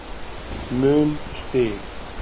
mun stig